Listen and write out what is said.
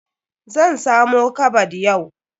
Zan samo kabad yau.